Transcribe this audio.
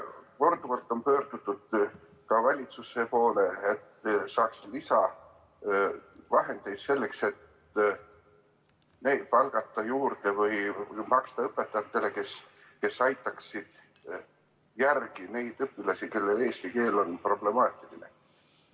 Korduvalt on pöördutud ka valitsuse poole, et saada lisavahendeid selleks, et palgata juurde või maksta õpetajatele, kes aitaksid järele neid õpilasi, kelle eesti keel on problemaatiline.